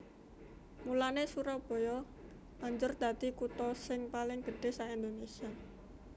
Mulanè Surabaya banjur dadi kutha sing paling gedhé sak Indonésia